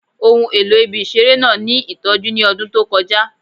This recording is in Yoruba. Ohun elo ibi-iṣere naa ni itọju ni ọdun to kọja